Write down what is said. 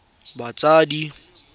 fa e le gore batsadi